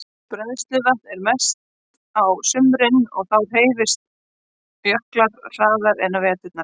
Bræðsluvatn er mest á sumrin og þá hreyfast jöklar hraðar en á veturna.